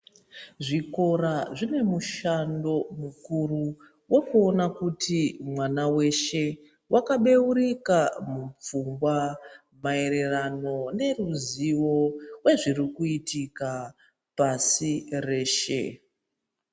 Zvikora zvine mushando mukuru wekuona kuti mwana weshe wakabeurika mupfungwa maererano neruzivo hwezvirikuitika pasi reshe